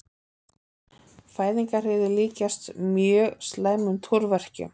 Fæðingarhríðir líkjast mjög slæmum túrverkjum.